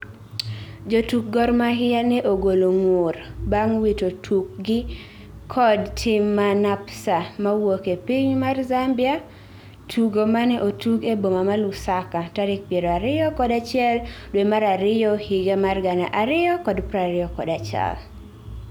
Jotuk Gor Mahia ne ogolo ngur bang wito tuk gi kod tim ma NAPSA mawuoke piny mar Zambia tugo mane otug e boma ma Lusaka tarik piero ariyokod achiel dwe mar ariyo higa mar gana ariyokod prariyo kod achiel